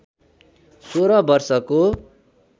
सोह्र वर्षको